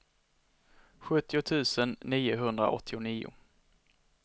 sjuttio tusen niohundraåttionio